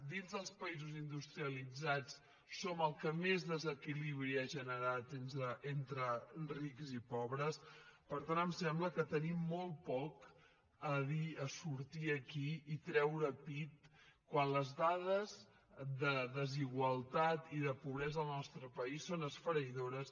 dins dels països industrialitzats som el que més desequilibri ha generat entre rics i pobres per tant em sembla que tenim molt poc a dir a sortir aquí i treure pit quan les dades de desigualtat i de pobresa al nostre país són esfereïdores